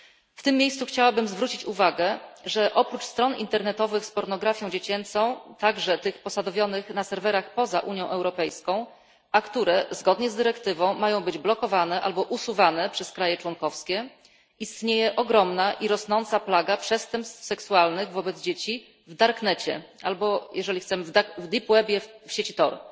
W tym miejscu chciałabym zwrócić uwagę, że oprócz stron internetowych z pornografią dziecięcą, także tych posadowionych na serwerach poza Unią Europejską, a które zgodnie z dyrektywą mają być blokowane albo usuwane przez państwa członkowskie, istnieje ogromna i rosnąca plaga przestępstw seksualnych wobec dzieci w darknecie albo jeżeli chcemy w deep web w sieci TOR.